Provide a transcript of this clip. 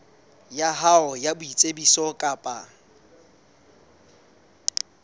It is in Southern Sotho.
ya hao ya boitsebiso kapa